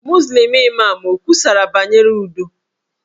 Muzlim Imam o kwusara banyere udo?